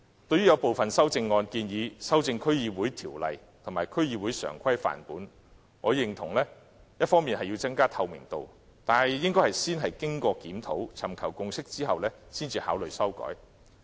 對有部分修正案建議修改《區議會條例》及《區議會常規範本》，我認同要增加透明度，但應先經檢討，尋求共識後才考慮修改。